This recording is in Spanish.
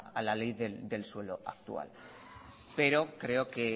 a la ley del suelo actual pero creo que